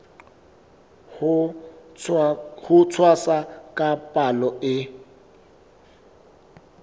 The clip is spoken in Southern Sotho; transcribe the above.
ho tshwasa ka palo e